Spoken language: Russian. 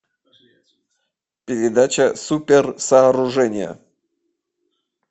передача супер сооружения